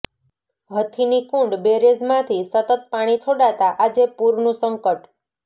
હથિની કુંડ બેરેજમાંથી સતત પાણી છોડાતા આજે પૂરનું સંકટ